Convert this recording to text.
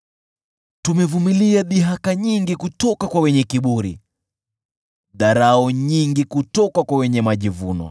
Tumevumilia dhihaka nyingi kutoka kwa wenye kiburi, dharau nyingi kutoka kwa wenye majivuno.